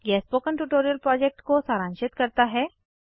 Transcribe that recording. यह spoken tutorial project को सारांशित करता है